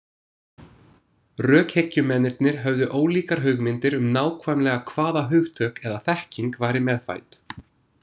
Rökhyggjumennirnir höfðu ólíkar hugmyndir um nákvæmlega hvaða hugtök eða þekking væri meðfædd.